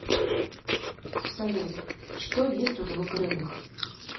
салют что есть у двукрылых